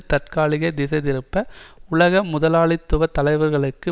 தற்காலிக திசை திருப்ப உலக முதலாளித்துவ தலைவர்களுக்கு